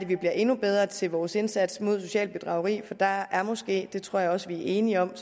vi bliver endnu bedre til vores indsats mod socialt bedrageri for der er måske det tror jeg også vi er enige om